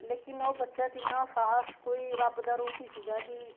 ਲੇਕਿਨ ਉਹ ਬੱਚਾ ਕਿੰਨਾ ਸ਼ਾਸ ਕੋਈ ਰੱਬ ਦਾ ਰੂਪ ਹੀ ਸੀਗਾ ਕੀ